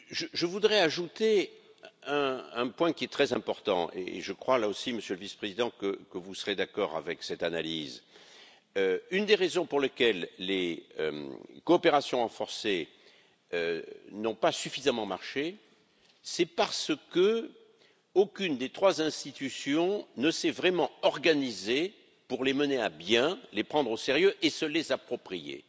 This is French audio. Je voudrais ajouter un point très important et je crois, là aussi, Monsieur le Vice président que vous serez d'accord avec cette analyse une des raisons pour lesquelles les coopérations renforcées n'ont pas suffisamment fonctionné, c'est parce qu'aucune des trois institutions ne s'est vraiment organisée pour les mener à bien, pour les prendre au sérieux et se les approprier.